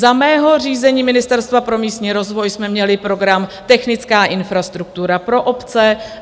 Za mého řízení Ministerstva pro místní rozvoj jsme měli program Technická infrastruktura pro obce.